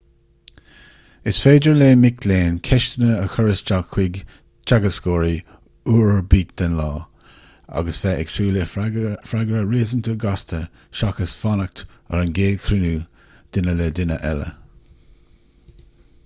is féidir le mic léinn ceisteanna a chur isteach chuig teagascóirí uair ar bith den lá agus bheith ag súil le freagra réasúnta gasta seachas fanacht ar an gcéad chruinniú duine le duine eile